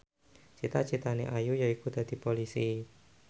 cita citane Ayu yaiku dadi Polisi